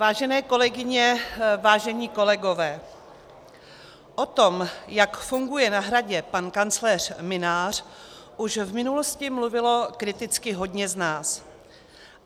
Vážené kolegyně, vážení kolegové, o tom, jak funguje na Hradě pan kancléř Mynář, už v minulosti mluvilo kriticky hodně z nás.